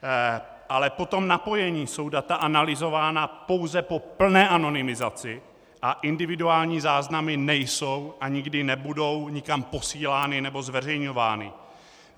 Ale po tom napojení jsou data analyzována pouze po plné anonymizaci a individuální záznamy nejsou a nikdy nebudou nikam posílány nebo zveřejňovány.